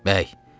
Bəy,